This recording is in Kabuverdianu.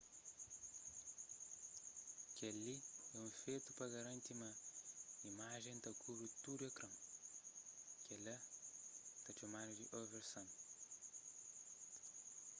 kel-li é fetu pa garanti ma imajen ta kubri tudu ekran kel-la ta txomadu di oversan